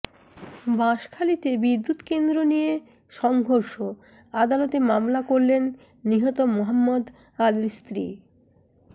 বাঁশখালীতে বিদ্যুৎকেন্দ্র নিয়ে সংঘর্ষ আদালতে মামলা করলেন নিহত মোহাম্মদ আলীর স্ত্রী